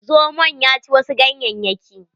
Zomon ya ci wasu ganyayyaki.